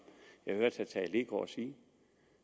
jeg hørte herre tage leegaard sige